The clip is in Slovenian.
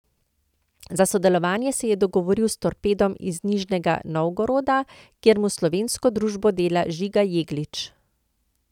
Za sodelovanje se je dogovoril s Torpedom iz Nižnega Novgoroda, kjer mu slovensko družbo dela Žiga Jeglič.